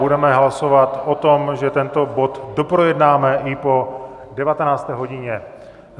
Budeme hlasovat o tom, že tento bod doprojednáme i po 19. hodině.